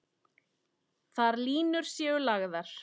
Þar séu línur lagðar.